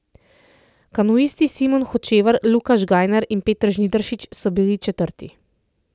Kanuisti Simon Hočevar, Luka Žganjar in Peter Žnidaršič so bili četrti.